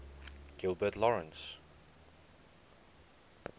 gilbert lawrence